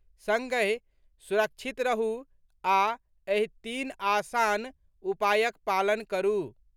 संगहि सुरक्षित रहू आ एहि तीन आसान उपायक पालन करू।